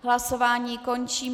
Hlasování končím.